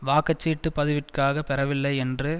வாக்கச்சீட்டுப் பதிவிற்காகப் பெறவில்லை என்று